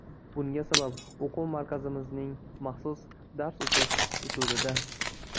Bunga sabab o‘quv markazimizning maxsus dars o‘tish usulida.